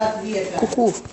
ку ку